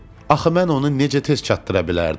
Axı mən onu necə tez çatdıra bilərdim?